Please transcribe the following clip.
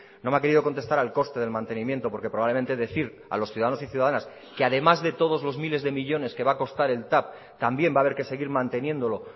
no me ha querido contestar al coste del mantenimiento porque probablemente decir a los ciudadanos y ciudadanas que además de todos los miles de millónes que va a costar el tav también va a haber que seguir manteniéndolo